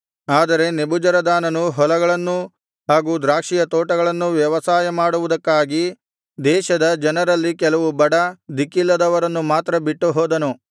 ಆದರೆ ನೆಬೂಜರದಾನನು ಹೊಲಗಳನ್ನೂ ಹಾಗು ದ್ರಾಕ್ಷಿಯ ತೋಟಗಳನ್ನೂ ವ್ಯವಸಾಯ ಮಾಡುವುದಕ್ಕಾಗಿ ದೇಶದ ಜನರಲ್ಲಿ ಕೆಲವು ಬಡ ದಿಕ್ಕಿಲ್ಲದವರನ್ನು ಮಾತ್ರ ಬಿಟ್ಟುಹೋದನು